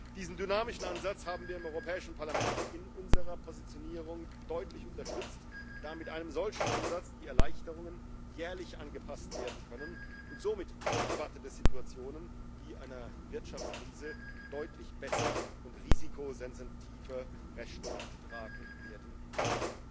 Diesen dynamischen Ansatz haben wir im Europäischen Parlament in unserer Positionierung deutlich unterstützt, da mit einem solchen Ansatz die Erleichterungen jährlich angepasst werden können und somit unerwarteten Situationen wie einer Wirtschaftskrise deutlich besser und risikosensitiver Rechnung getragen werden kann.